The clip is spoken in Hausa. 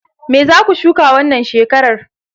Me zaku shuka wannan shekarar?